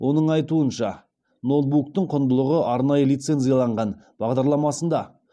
оның айтуынша ноутбуктың құндылығы арнайы лицензияланған бағдарламасында